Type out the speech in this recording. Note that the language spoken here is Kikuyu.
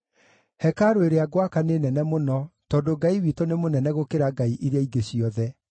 “Hekarũ ĩrĩa ngwaka nĩ nene mũno, tondũ Ngai witũ nĩ mũnene gũkĩra ngai iria ingĩ ciothe.